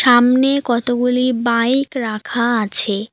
সামনে কতগুলি বাইক রাখা আছে।